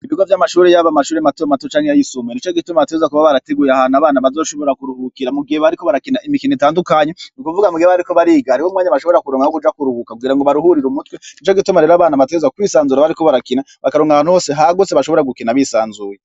Ibigo vyamashure yaba amashure mato mato canke ayisumbuye nicogituma bategerezwa kuba barateguye ahantu abana bazoshobora kuruhukira mugihe bariko barakina imikino itandukanye nukuvuga mugihe bariko bariga hariho umwanya bashobora kuronka wokuja kuruhuka kugira ngo baruhurire umutwe nicogituma rero abana bategerezwa kwisanzura bariko barakina bakaronka ahantu hose hagutse bashobora gukina bisanzuye